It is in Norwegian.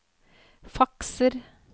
fakser